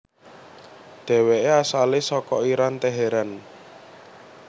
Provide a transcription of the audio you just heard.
Dheweke asale saka Iran Teheran